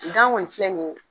Gan ŋɔni filɛ nin ye